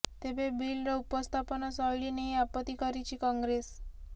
ତେବେ ବିଲ୍ର ଉପସ୍ଥାପନ ଶୈଳୀ ନେଇ ଆପତ୍ତି କରିଛି କଂଗ୍ରେସ